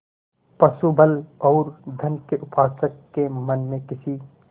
पशुबल और धन के उपासक के मन में किसी